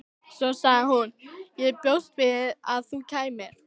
Svo sagði hún: Ég bjóst við að þú kæmir.